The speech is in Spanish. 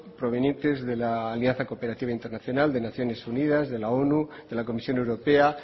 provenientes de la alianza cooperativa internacional de naciones unidas de la onu de la comisión europea